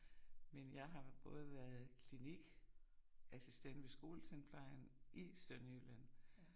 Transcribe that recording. Men jeg har både været klinikassistent ved skoletandplejen i Sønderjylland